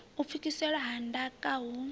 u pfukiselwa ha ndaka hu